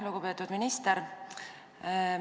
Lugupeetud minister!